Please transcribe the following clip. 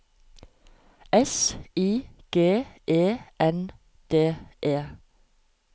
S I G E N D E